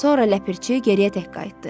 Sonra Ləpirçi geriyə tək qayıtdı.